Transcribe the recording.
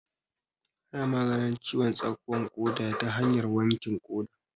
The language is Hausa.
Ana maganin ciwon tsakuwan ƙoda ta hanyar wankin ƙoda